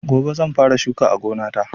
Gobe zan fara shuka a gonata.